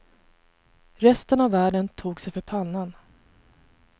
Resten av världen tog sig för pannan.